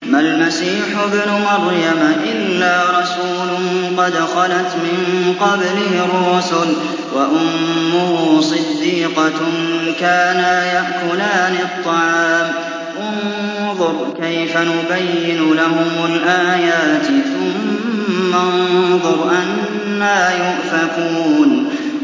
مَّا الْمَسِيحُ ابْنُ مَرْيَمَ إِلَّا رَسُولٌ قَدْ خَلَتْ مِن قَبْلِهِ الرُّسُلُ وَأُمُّهُ صِدِّيقَةٌ ۖ كَانَا يَأْكُلَانِ الطَّعَامَ ۗ انظُرْ كَيْفَ نُبَيِّنُ لَهُمُ الْآيَاتِ ثُمَّ انظُرْ أَنَّىٰ يُؤْفَكُونَ